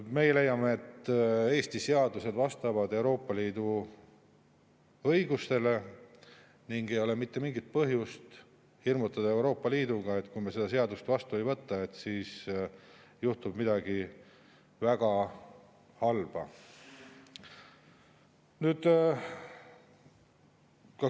Meie leiame, et Eesti seadused vastavad Euroopa Liidu õigusele ning ei ole mitte mingit põhjust hirmutada Euroopa Liiduga, et kui me seda seadust vastu ei võta, siis juhtub midagi väga halba.